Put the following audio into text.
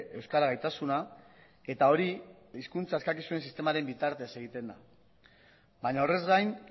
euskara gaitasuna eta hori hizkuntza eskakizunen sistemaren bitartez egiten da baina orrez gain